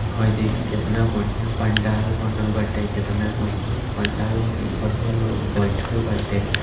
हेय देखी केतना बढ़िया पंडाल बनल बाटे केतना मजबूत पंडाल बा इ बढ़िया लोग बैठएल बाटे।